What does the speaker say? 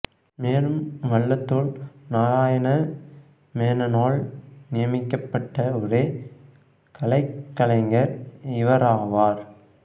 மேலும் வள்ளத்தோள் நாராயண மேனனால் நியமிக்கப்பட்ட ஒரே கலைக் கலைஞர் இவராவார்